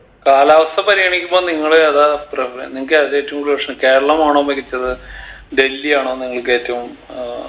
കാലാവസ്ഥ പരിഗണിക്കുമ്പൊ നിങ്ങൾ ഏതാ പ്രവ് നിങ്ങക്ക് ഏതാ ഏറ്റവും കൂടുതൽ ഇഷ്ട്ടം കേരളമാണോ മികച്ചത് ഡൽഹി ആണോ നിങ്ങക്ക് ഏറ്റവും ഏർ